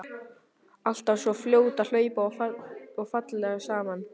Alltaf svo fljót að hlaupa og falleg saman.